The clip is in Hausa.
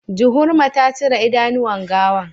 Juhurma ta cire idanuwan gawan